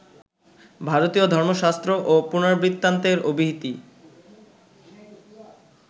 ভারতীয় ধর্মশাস্ত্র ও পুরাণবৃত্তান্তের অবহিতি